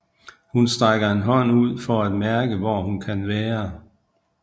Hun strækker en hånd ud for at mærke hvor hun kan være